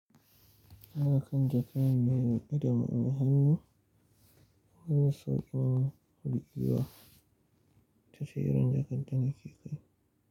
Haka kan jaka ne ya yi ƙaɗam a hannu wajen sauƙin huɗuwa ta tseren jakar da na ke kai.